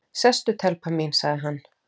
Sestu telpa mín, sagði hann.